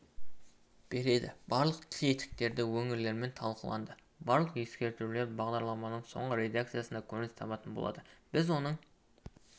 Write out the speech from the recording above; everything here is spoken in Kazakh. береді барлық тетіктері өңірлермен талқыланды барлық ескертулер бағдарламаның соңғы редакциясында көрініс табатын болады біз оның